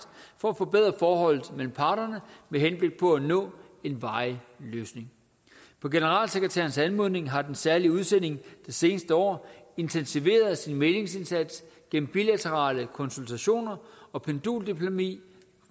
for at forbedre forholdet mellem parterne med henblik på at nå en varig løsning på generalsekretærens anmodning har den særlige udsending det seneste år intensiveret sin mæglingsindsats gennem bilaterale konsultationer og penduldiplomati